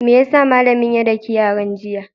Me ya sa malamin ya daki yaran, jiya?